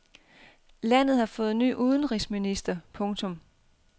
Landet har fået ny udenrigsminister. punktum